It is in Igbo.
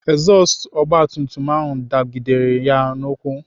Ezọstụ ogbatumtum ahụ dagidere ya n'ụkwụ.